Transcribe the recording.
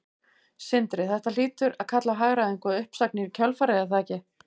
Sindri: Þetta hlýtur að kalla á hagræðingu og uppsagnir í kjölfarið er það ekki?